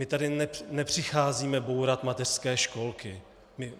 My tady nepřicházíme bourat mateřské školky.